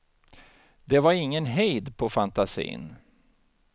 Det var ingen hejd på fantasin.